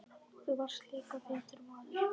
Þú varst líka vitur maður.